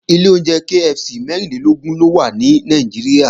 Ilé oúnjẹ KFC mẹ́rìnlélógún ló wà ní Nàìjíríà